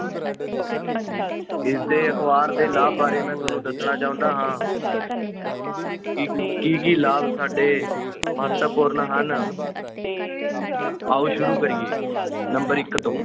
ਇਸ ਦੇ ਅਖਬਾਰ ਦੇ ਲਾਭ ਬਾਰੇ ਮੈਂ ਤੁਹਾਨੂੰ ਦੱਸਣਾ ਚਾਹੁੰਦਾ ਹਾਂ ਕਿ ਕੀ ਕੀ ਲਾਭ ਸਾਡੇ ਮਹੱਤਵਪੂਰਨ ਹਨ ਆਓ ਸ਼ੁਰੂ ਕਰੀਏ number ਇੱਕ ਤੋਂ,